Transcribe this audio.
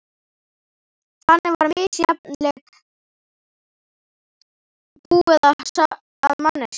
Þannig var misjafnlega búið að manneskjunum.